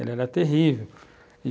Ele era terrível.